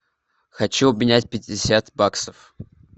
хочу обменять пятьдесят баксов